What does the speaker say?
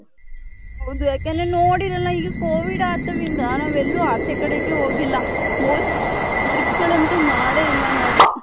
ಹೌದು ಯಾಕಂದ್ರೆ ನೋಡಿರಲ್ಲ ಈ covid ಆಟವಿಂದ ನಾವ್ ಎಲ್ಲೂ ಅಚೆಕಡೆ ಹೋಗಿಲ್ಲ trip ಗಳಂತು ಮಾಡೇ ಇಲ್ಲ ನಾವು .